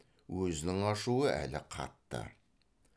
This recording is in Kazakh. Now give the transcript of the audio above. өзінің ашуы әлі қатты